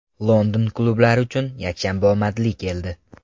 London klublari uchun yakshanba omadli keldi.